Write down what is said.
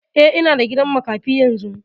Eh, ina gidan makafi yanzu